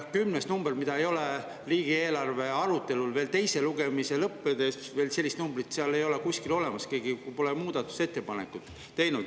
Sellist numbrit ei ole riigieelarve arutelul ka pärast teise lugemise lõppemist kuskil olnud, keegi pole sellist muudatusettepanekut teinud.